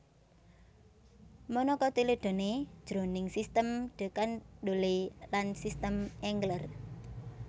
Monocotyledoneae jroning sistem de Candolle lan sistem Engler